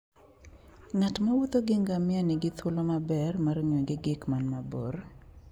Ng'at mowuotho gi ngamia nigi thuolo maber mar ng'iyo gik man mabor.